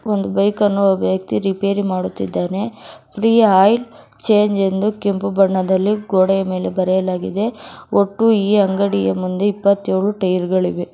ಒಂದು ಬೈಕ್ ಅನ್ನು ಒಬ್ಬ ವ್ಯಕ್ತಿ ರಿಪೇರಿ ಮಾಡುತ್ತಿದ್ದಾನೆ ಫ್ರೀ ಆಯಿಲ್ ಚೇಂಜ್ ಎಂದು ಕೆಂಪು ಬಣ್ಣದಲ್ಲಿ ಗೋಡೆ ಮೇಲೆ ಬರೆಯಲಾಗಿದೆ ಒಟ್ಟು ಈ ಅಂಗಡಿಯ ಮುಂದೆ ಇಪ್ಪತ್ತೇಳು ಟೖರ್ಗಳಿವೆ.